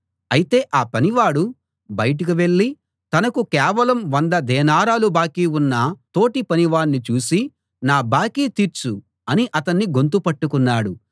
అయితే ఆ పనివాడు బయటికి వెళ్ళి తనకు కేవలం వంద దేనారాలు బాకీ ఉన్న తోటి పనివాణ్ణి చూసి నా బాకీ తీర్చు అని అతని గొంతు పట్టుకున్నాడు